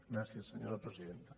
gràcies senyora presidenta